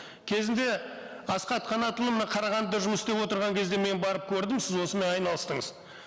кезінде асхат қанатұлы мына қарағандыда жұмыс істеп отырған кезде мен барып көрдім сіз осымен айналыстыңыз